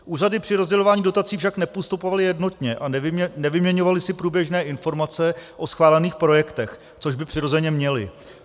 Úřady při rozdělování dotací však nepostupovaly jednotně a nevyměňovaly si průběžné informace o schválených projektech, což by přirozeně měly.